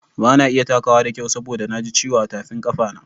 Bana iya takawa da kyau saboda na ji ciwo a tafin kafana.